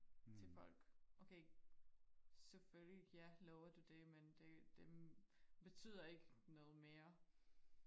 til folk okay selvfølgelig ja lover du det men det men betyder ikke noget mere